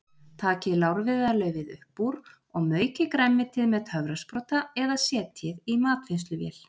Takið lárviðarlaufið upp úr og maukið grænmetið með töfrasprota eða setjið í matvinnsluvél.